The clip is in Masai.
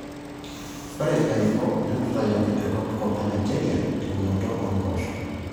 Ore ilairemok netutayioki te kopkop e Nigeria teunoto oo mpoosho.